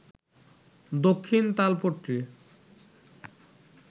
Dakshin Talpatti